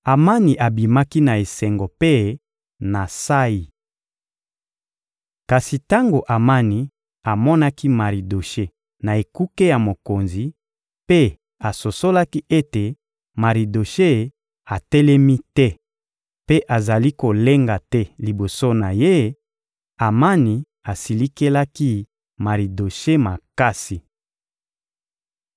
Amani abimaki na esengo mpe na nsayi. Kasi tango Amani amonaki Maridoshe na ekuke ya mokonzi mpe asosolaki ete Maridoshe atelemi te mpe azali kolenga te liboso na ye, Amani asilikelaki Maridoshe makasi.